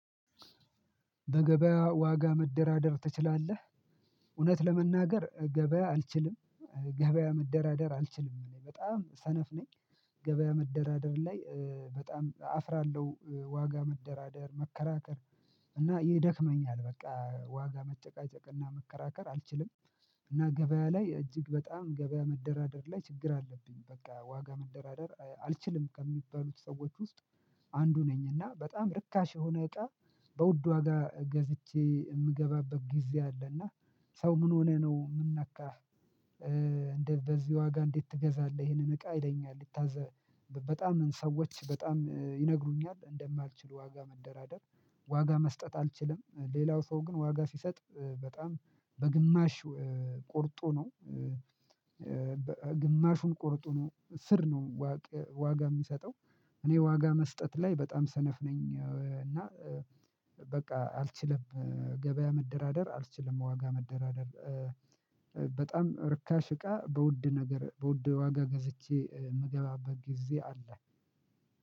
በገበያ ዋጋ መደራደር ትችላለህ? እውነት ለመናገር ገበያ አልችልም ገበያ መደራደር አልችልም እኔ በጣም ሰነፍ ነኝ ገበያ መደራደር ላይ በጣም አፍራለሁ። ዋጋ መደራደር መከራከር እና ይደክመኛል በቃ ዋጋ መጨቃጨቅና መከራከር አልችልም። እና ገበያ ላይ እጅግ በጣም ገበያ መደራደር ላይ ችግር አለብኝ በቃ ዋጋ መደራደር አልችልም ከሚባሉት ሰዎች ውስጥ አንዱ ነኝ እና በጣም ርካሽ የሆነ እቃ በውድ ዋጋ ገዝቼ የምገባበት ጊዜ አለ እና ሰው ምን ሆነህ ነው ምን ነካህ እንደ በዚህ ዋጋ እንዴት ትገዛለህ ይሄንን እቃ ይለኛል ይታዘ በጣም ሰዎች በጣም ይነግሩኛል እንደማልችል ዋጋ መንደራደር ዋጋ መስጠት አልችልም ሌላው ሰው ግን ዋጋ ሲሰጥ በጣም በግማሽ ቆርጦ ነው ግማሹን ቆርጦ ነው ስር ነው ዋጋ የሚሰጠው እኔ ዋጋ መስጠት ላይ በጣም ሰነፍ ነኝ እና በቃ አልችልም ገበያ መደራደር አልችልም ዋጋ መደራደር በጣም ርካሽ እቃ በውድ ነገር በውድ ዋጋ ገዝቼ የምገባበት ጊዜ አለ